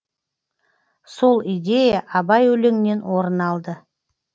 сол идея абай өлеңінен орын алды